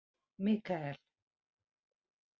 Mikael